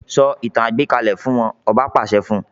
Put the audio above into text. Sọ ìtàn àgbékalẹ̀ fún wọn, ọba pàṣẹ fún un.